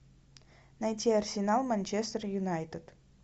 найти арсенал манчестер юнайтед